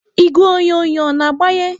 Igwe onyonyo a na-agbanye?